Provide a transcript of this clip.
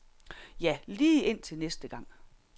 Ja, lige indtil næste gang.